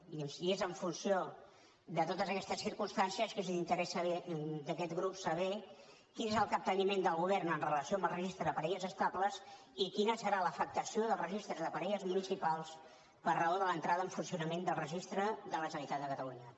i és en funció de totes aquestes circumstàncies que es interès d’aquest grup saber quin és el capteniment del govern en relació amb el registre de parelles estables i quina serà l’afectació dels registres de parelles municipals per raó de l’entrada en funcionament del registre de la generalitat de catalunya